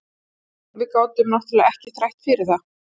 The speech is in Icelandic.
Jú, við gátum náttúrlega ekki þrætt fyrir það.